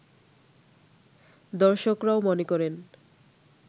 দর্শকরাও মনে করেন